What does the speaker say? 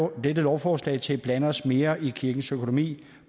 dette lovforslag til at blande os mere i kirkens økonomi